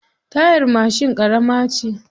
Tayar mashin ƙarama ce.